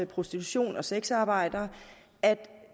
prostitution og sexarbejdere at